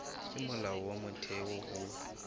ke molao wa motheo ho